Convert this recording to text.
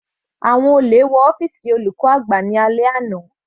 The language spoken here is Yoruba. Àwọn olè wọ ọ́fìsì olùkọ́ àgbà ní alẹ́ àná.